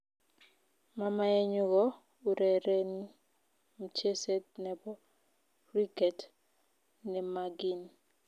Mamaeyu ko urereni mcheset nebo Kriket, nemagim